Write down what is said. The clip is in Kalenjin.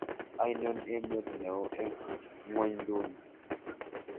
Ainon emet neo eng' ng'wonynduni